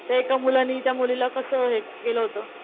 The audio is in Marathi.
ते एका मुलानी त्या मुलीला कस हे केलं होत,